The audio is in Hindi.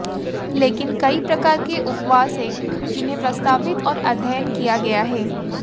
लेकिन कई प्रकार के उपवास हैं जिन्हें प्रस्तावित और अध्ययन किया गया है